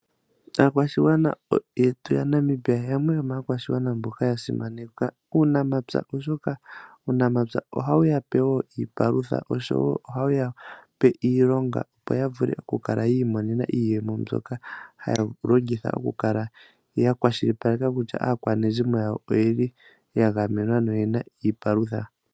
Aakwashigwana yetu ya Namibia yamwe yomaakwashigwana mboka ya simaneka uunamapya, oshoka uunamapya ohawu yape wo iipalutha oshowo ohawu yape iilonga opo ya vule oku kala yi imo nena iiyemo mbyoka haya longitha oku kala ya kwashilipaleka kutya aakwanezimo yawo oyeli ya gamenwa noyena iipalutha.